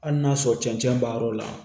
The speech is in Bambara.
Hali n'a sɔrɔ cɛncɛn b'a yɔrɔ la